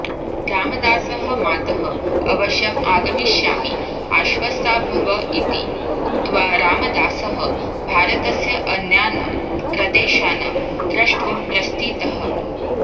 रामदासः मातः अवश्यम् आगमिष्यामि आश्वस्ता भव इति उक्त्वा रामदासः भारतस्य अन्यान् प्रदेशान् द्रष्टुं प्रस्थितः